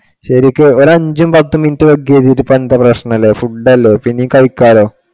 ശരിക്കും ഒരഞ്ചും പത്തും minute വൈകി വെച്ചിട്ടു ഇപ്പൊ എന്താ പ്രശ്‍നം ഉള്ളെ. Food അല്ലെ പിന്നെ കഴിക്കാല്ലോ.